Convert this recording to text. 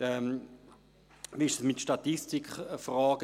Wie verhält es sich mit Statistikfragen?